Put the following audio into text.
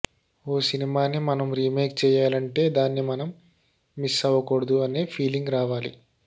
ఓ సినిమాని మనం రీమేక్ చేయాలంటే దాన్ని మనం మిస్ ఆవకూడదు అనే ఫీలింగ్ రావాలి